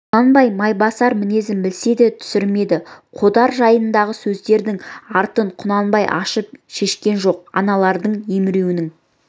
құнанбай майбасар мінезін білсе де түсірмеді қодар жайындағы сөздердің артын құнанбай ашып шешкен жоқ аналардың емеуірінін